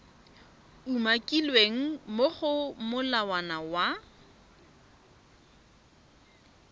umakilweng mo go molawana wa